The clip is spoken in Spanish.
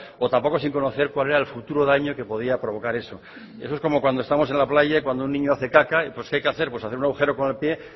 o tampoco sin conocer cuál era el futuro daño que podría provocar eso eso es como cuando estamos en la playa y cuando un niño hace caca pues que hay que hacer hacer un agujero con el pie